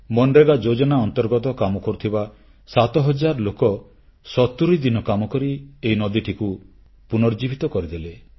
ମନରେଗା ଯୋଜନା ଅନ୍ତର୍ଗତ କାମ କରୁଥିବା ସାତ ହଜାର ଲୋକ ସତୁରୀ ଦିନ କାମକରି ଏହି ନଦୀଟିକୁ ପୁନର୍ଜୀବିତ କରିଦେଲେ